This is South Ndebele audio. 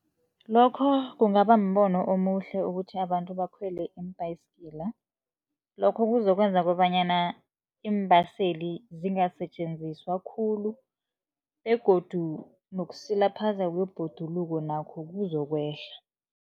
Lokho kungaba mbono omuhle ukuthi abantu bakhwele imbhayisigila. Lokho kuzokwenza kobanyana iimbaseli zingasetjenziswa khulu begodu nokusilaphazeka kwebhoduluko nakho kuzokwehla.